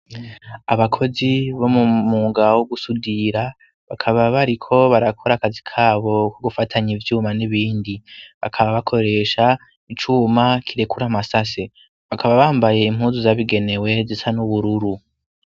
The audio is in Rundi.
Abakozi bo m'umwuga wo gusudira bakaba bariko barakora akazi k'abo, ko gufatanya ivyuma n'ibindi. Bakaba bakoresha icuma kirekura amasase. Bakaba bambaye impuzu zabigenewe zisa n'ubururu.